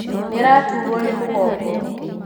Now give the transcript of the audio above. Nĩaraturwo nĩ mũgongo